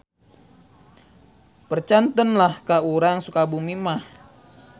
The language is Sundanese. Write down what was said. Percanten lah ka urang Sukabumi mah.